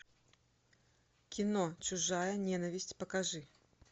кино чужая ненависть покажи